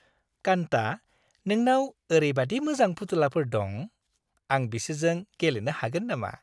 कान्ता, नोंनाव ओरैबायदि मोजां फुथुलाफोर दं। आं बिसोरजों गेलेनो हागोन नामा?